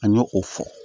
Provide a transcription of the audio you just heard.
An ye o fɔ